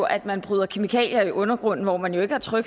at man bryder kemikalier i undergrunden hvor man jo ikke